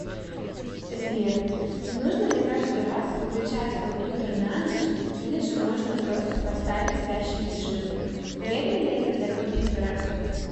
сбер нужно ли каждый раз выключать компьютер на ночь или же можно просто поставить спящий режим вредно ли это для компьютера